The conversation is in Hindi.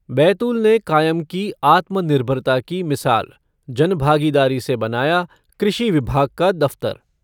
बैतूल ने कायम की आत्मनिर्भरता की मिसाल, जनभागीदारी से बनाया कृषि विभाग का दफ़्तर।